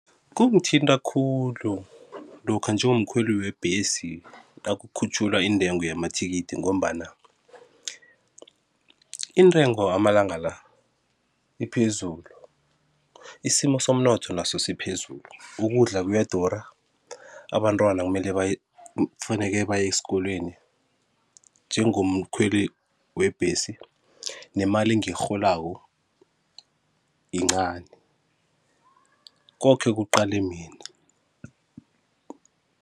Kungithinta khulu lokha njengomkhweli webhesi nakukhutjhulwa intengo yamathikithi ngombana intengo amalanga la iphezulu, isimo somnotho naso siphezulu, ukudla kuyadura, abantwana kumele baye kufanele baye esikolweni, njengomkhweli webhesi nemali engiyirholako yincani koke kuqale mina.